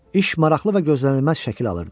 İş maraqlı və gözlənilməz şəkil alırdı.